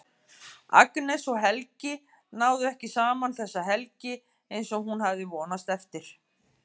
Agnes og Helgi náðu ekki saman þessa helgi eins og hún hafði vonast eftir.